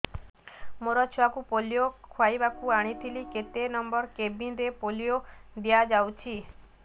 ମୋର ଛୁଆକୁ ପୋଲିଓ ଖୁଆଇବାକୁ ଆଣିଥିଲି କେତେ ନମ୍ବର କେବିନ ରେ ପୋଲିଓ ଦିଆଯାଉଛି